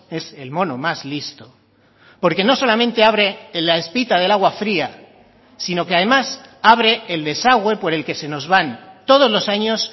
es el mono más listo porque no solamente abre la espita del agua fría sino que además abre el desagüe por el que se nos van todos los años